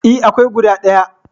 E, akwai guda ɗaya.